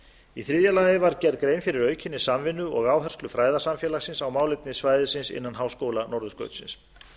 í þriðja lagi var gerð grein fyrir aukinni samvinnu og áherslu fræðasamfélagsins á málefni svæðisins innan háskóla norðurskautsins